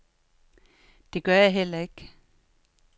Det gør jeg heller ikke.